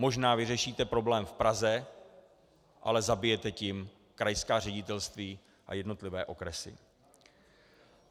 Možná vyřešíte problém v Praze, ale zabijete tím krajská ředitelství a jednotlivé okresy.